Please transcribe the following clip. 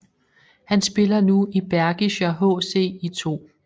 Han spiller nu i Bergischer HC i 2